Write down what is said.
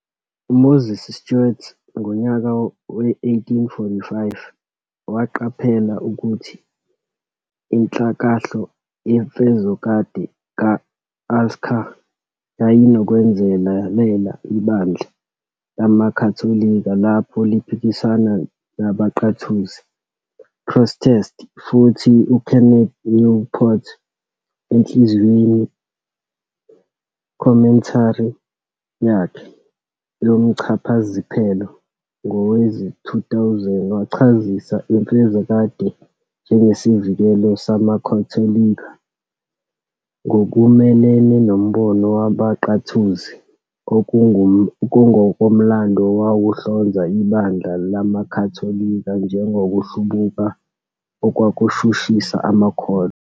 UMoses Stuart ngonyaka we-1845 waqaphela ukuthi inhlakahlo yemfezokade ka-Alcasar yayinokwenzelela ibandla lamaKhatholika lapho liphikisana nabaNqathuzi, "Protestants", futhi uKenneth Newport enhlaziyweni, "commentary", yakhe yomchazasiphelo ngowezi-2000 wachazisa imfezokade njengesivikelo samakhatholika ngokumelene nombono wabaNqathuzi ongokomlando owawuhlonza ibandla lamakhatholika njengokuhlubuka okwakushushisa amakholwa.